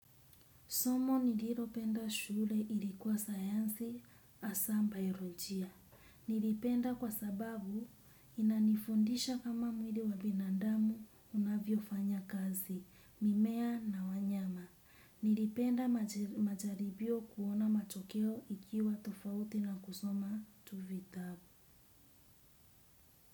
Somo nililopenda shule ilikuwa sayansi asa ba irojia. Nilipenda kwa sababu inanifundisha kama mwili wabinandamu unavyo fanya kazi, mimea na wanyama. Nilipenda majaribio kuona matokeo ikiwa tofauti na kusoma tuvitabu.